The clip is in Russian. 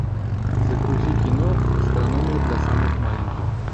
загрузи кино астрономия для самых маленьких